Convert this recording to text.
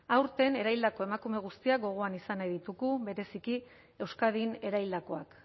aurten eraildako emakume guztiak gogoan izan nahi ditugu bereziki euskadin eraildakoak